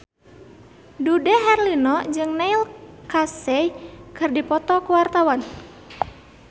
Dude Herlino jeung Neil Casey keur dipoto ku wartawan